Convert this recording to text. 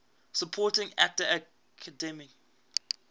supporting actor academy